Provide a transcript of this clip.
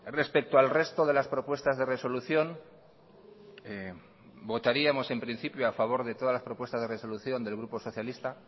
respecto al resto de las propuestas de resolución votaríamos en principio a favor de todas las propuestas de resolución del grupo socialista